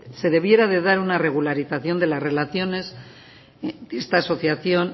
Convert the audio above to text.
se debiera de dar una regularización de las relaciones de esta asociación